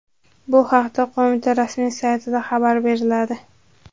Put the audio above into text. Bu haqda qo‘mita rasmiy saytida xabar beriladi .